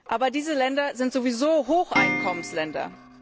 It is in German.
Aber diese Länder sind sowieso Hocheinkommensländer.